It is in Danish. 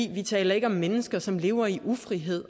vi taler ikke om mennesker som lever i ufrihed